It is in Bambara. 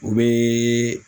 O be